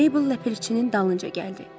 Meybl Ləpirçinin dalınca gəldi.